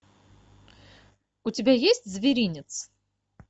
у тебя есть зверинец